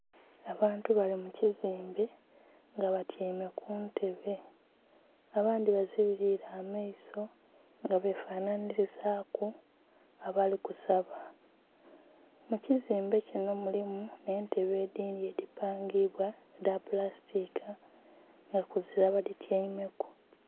Abantu bali mu kizimbe nga batyaime ku ntebe. Abandhi bazibiliile amaiso nga befanhanhilizaaku abali kusaba. Mu kizimbe kino mulimu entebe edhindhi edhipangibwa edha pulasitika, nga kuzira badhityaimeku.